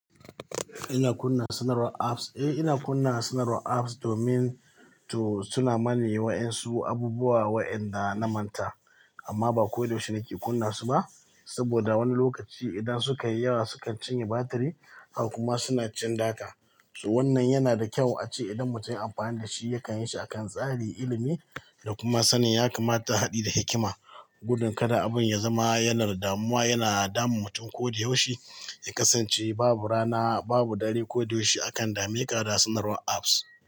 Ina kunna sanarwar apps, eh ina kunna sanarwar apps domin to suna mani yi wa ƴan su abubuwa wayanda na manta. Amma ba koyaushe nake kunna su ba, saboda wani lokaci idan sukayi yawa sukan cinye batiri, har kuma suna cin data. Wannan yana da kyau ace idan mutum ya yi amfani da shi yakan yi shi akan tsarin ilimi da kuma sanin ya kamata haɗe da hikima. Gudun kada abun ya zama yanar damuwa yana damun mutum koyaushe. Ya kasance babu rana, babu dare koyaushe a kan dame ƙara sanarwar apps.